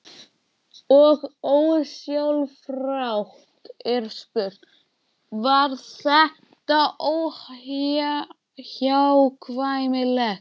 Og ósjálfrátt er spurt: Var þetta óhjákvæmilegt?